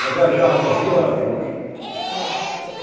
Eu viajava no rio Arapiuns. ãh